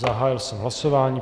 Zahájil jsem hlasování.